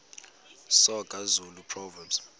soga zulu proverbs